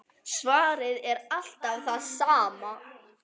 Svarið er alltaf það sama.